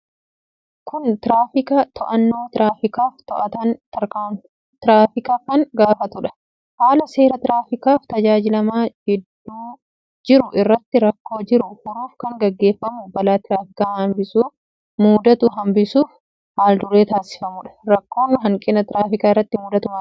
Kun tiraafika to'annoo tiraafikaf to'ataan tiraafika kan gaafatudha. Haala seera tiraafikaf tajaajilama gidduu jiruu irraatti rakkoo jiruu furuuf kan geggeffamu balaa tiraafika hanbisu muudatu hanbisuuf haal-duree taasifamudha. Rakko hanqina tiraafika irratti muudatu maalidha?